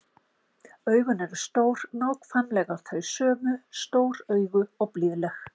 Augun eru eins, nákvæmlega þau sömu, stór augu og blíðleg.